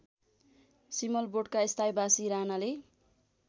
सिमलबोटका स्थायीबासी रानाले